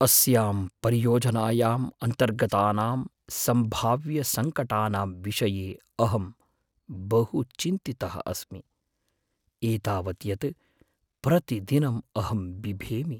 अस्यां परियोजनायाम् अन्तर्गतानां सम्भाव्यसङ्कटानां विषये अहं बहु चिन्तितः अस्मि, एतावत् यत् प्रतिदिनं अहं बिभेमि।